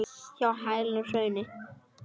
Hjá hælinu í hrauni.